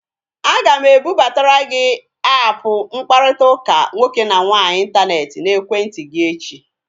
Aga m ebubatara gị aapụ mkparịtaụka nwoke na nwaanyị intaneti n'ekwentị gị echi